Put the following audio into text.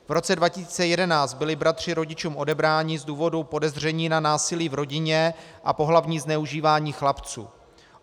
V roce 2011 byli bratři rodičům odebráni z důvodu podezření na násilí v rodině a pohlavní zneužívání chlapců.